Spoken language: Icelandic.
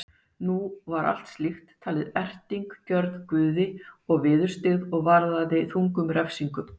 nú var slíkt talið erting gjörð guði og viðurstyggð og varðaði þungum refsingum